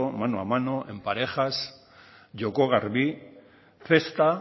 mano a mano en parejas joko garbi cesta